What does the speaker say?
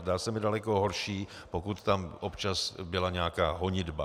Zdá se mi daleko horší, pokud tam občas byla nějaká honitba.